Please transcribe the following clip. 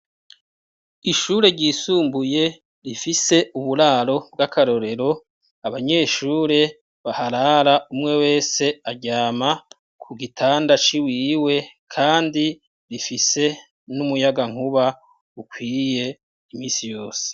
Ishure ryisumbuye rifise uburaro bw' akarorero, abanyeshure baharara umwe wese aryama ku gitanda c' iwiwe kandi rifise n' umuyagankuba ukwiye iminsi yose.